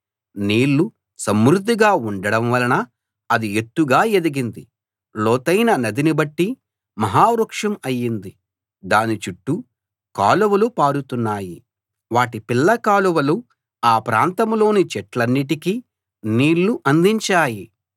నీళ్లు సమృద్ధిగా ఉండడం వలన అది ఎత్తుగా ఎదిగింది లోతైన నదిని బట్టి మహావృక్షం అయింది దాని చుట్టూ కాలువలు పారుతున్నాయి వాటి పిల్ల కాలువలు ఆ ప్రాంతంలోని చెట్లన్నిటికీ నీళ్ళు అందించాయి